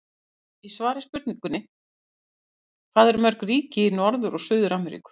Í svari við spurningunni Hvað eru mörg ríki í Norður- og Suður-Ameríku?